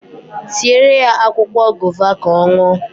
Siere ya akwụkwọ gova ka ọ ṅụọ